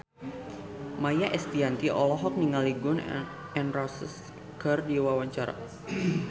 Maia Estianty olohok ningali Gun N Roses keur diwawancara